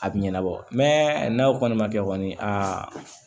A bɛ ɲɛnabɔ mɛ n'a kɔni ma kɛ kɔni aa